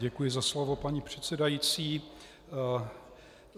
Děkuji za slovo, paní předsedající.